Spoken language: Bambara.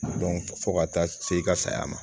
fo ka taa se i ka saya ma